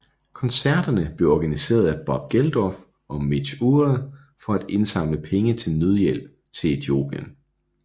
Koncerterne blev organiseret af Bob Geldof og Midge Ure for at indsamle penge til nødhjælp til Etiopien